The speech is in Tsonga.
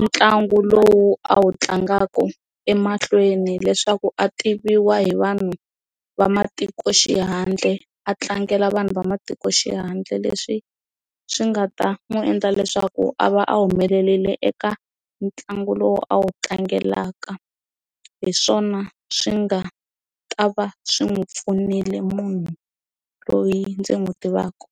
ntlangu lowu a wu tlangaka emahlweni leswaku a tiviwa hi vanhu va matikoxihandle a tlangela vanhu va matikoxihandle leswi swi nga ta n'wi endla leswaku a va a humelele eka ntlangu lowu a wu tlangelaka hi swona swi nga ta va swi n'wi pfunile munhu loyi ndzi n'wi tivaka.